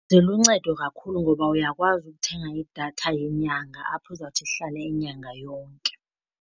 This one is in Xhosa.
Ziluncedo kakhulu ngoba uyakwazi ukuthenga idatha yenyanga apho izawuthi ihlale inyanga yonke.